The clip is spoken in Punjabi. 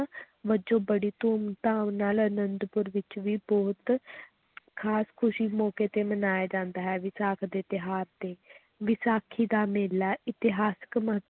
ਵਜੋਂ ਬੜੀ ਧੂਮ-ਧਾਮ ਨਾਲ ਅਨੰਦਪੁਰ ਵਿੱਚ ਵੀ ਬਹੁਤ ਖ਼ਾਸ ਖ਼ੁਸੀ ਮੌਕੇ ਤੇ ਮਨਾਇਆ ਜਾਂਦਾ ਹੈ ਵਿਸਾਖ ਦੇ ਤਿਉਹਾਰ ਤੇ ਵਿਸਾਖੀ ਦਾ ਮੇਲਾ ਇਤਿਹਾਸਕ ਮਹੱ